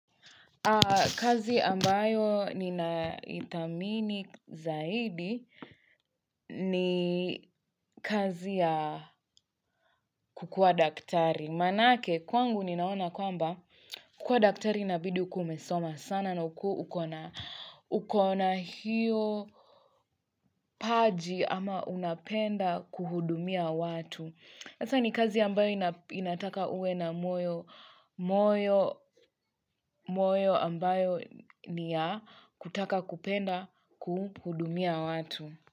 Kazi ambayo ni na ithamini zaidi ni kazi ya kukua daktari. Manake, kwangu ni naona kwamba kukua daktari inabidi ukuweumesoma sana na ukona hiyo paji ama unapenda kuhudumia watu. Asa ni kazi ambayo inataka uwe na moyo ambayo ni ya kutaka kupenda kuhudumia watu.